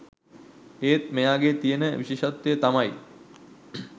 ඒත් මෙයාගෙ තියෙන විශේෂත්වය තමයි